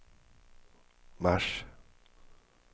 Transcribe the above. mars